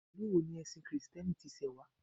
Ìlú wo ni ẹ̀sìn kìrìtẹ́nì tí ṣe wá